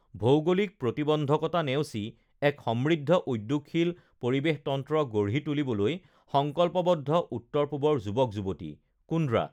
ভৌগোলিক প্ৰতিবন্ধকতা নেওচি এক সমৃদ্ধ উদ্যোগশীল পৰিৱেশতন্ত্ৰ গঢ়ি তুলিবলৈ সংকল্পবদ্ধ উত্তৰ পূবৰ যুৱক যুৱতীঃ কুন্দ্ৰা